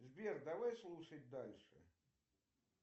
сбер давай слушать дальше